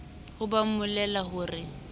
ha ba mmolella ho re